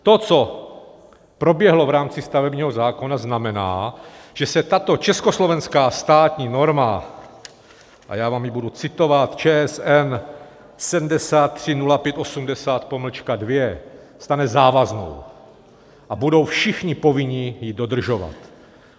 To, co proběhlo v rámci stavebního zákona, znamená, že se tato československá státní norma, a já vám ji budu citovat, ČSN 730580-2, stane závaznou a budou všichni povinni ji dodržovat.